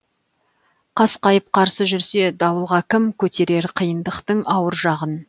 қасқайып қарсы жүрсе дауылға кім көтерер қиындықтың ауыр жағын